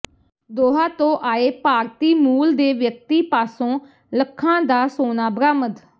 ਦੋਹਾ ਤੋਂ ਆਏ ਭਾਰਤੀ ਮੂਲ ਦੇ ਵਿਅਕਤੀ ਪਾਸੋਂ ਲੱਖਾਂ ਦਾ ਸੋਨਾ ਬਰਾਮਦ